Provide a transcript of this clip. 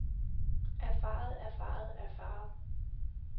erfaret erfaret erfaret